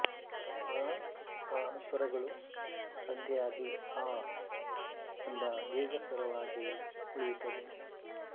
ಆ ಅ ಸ್ವರಗಳು ಸಂಧಿಯಾಗಿ ಆ ಎಂಬ ದೀರ್ಘ ಸ್ವರವಾಗಿ ಉಳಿಯುತ್ತದೆ